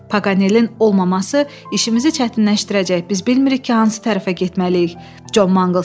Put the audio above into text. Paganelin olmaması işimizi çətinləşdirəcək, biz bilmirik ki, hansı tərəfə getməliyik, Con Mangls dedi.